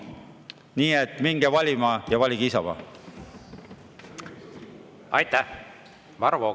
Nii et minge valima ja valige Isamaa!